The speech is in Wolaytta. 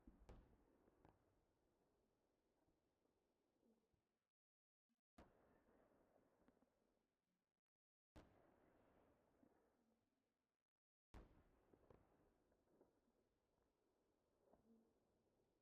Ha"i nu wodee zammanidi asay mata sohaa haaho soha ba motoriyan manddarees. Taayyo qassi motoree xayin issi issi sohaa tohuwan biyode yiilloyes gooppa.